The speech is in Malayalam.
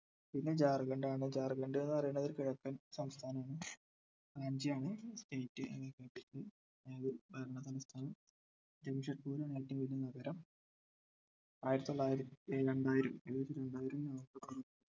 പിന്നെ ജാർഖണ്ഡ് ആണ് ജാർഖണ്ഡ് എന്ന് പറയുന്നതൊരു കിഴക്കൻ സംസ്ഥാനമാണ് റാഞ്ചി ആണ് state ഏർ ഉം അതായത് ഭരണസംസ്ഥാനം ജംഷെദ്പുർ ആണ് എറ്റവും വലിയ നഗരം ആയിരത്തിതൊള്ളായിരത്തി ഏർ രണ്ടായിരം ഏകദേശം രണ്ടായിരം november